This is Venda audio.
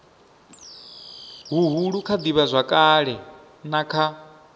huhulu kha ivhazwakale na kha